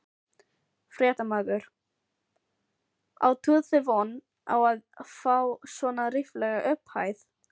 Fréttamaður: Áttuð þið von á að fá svona ríflega upphæð?